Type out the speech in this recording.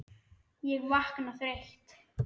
Ég vakna þreytt.